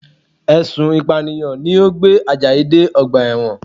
Ẹ̀sùn Ìpànìyàn ni ó gbé Àjàyí dé ọgbà ẹ̀wọ̀n